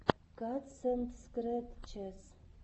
катсэндскрэтчес